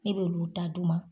Ne b'olu ta d'u ma.